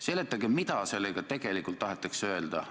Seletage, mida sellega tegelikult öelda tahetakse.